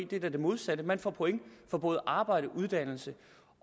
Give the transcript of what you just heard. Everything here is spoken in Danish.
det er da det modsatte man får point for både arbejde uddannelse